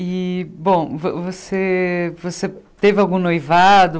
E, bom, vo você você teve algum noivado?